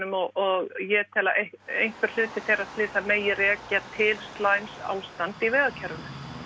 og ég tel að einhver hluti þeirra slysa megi rekja til slæms ástand í vegakerfinu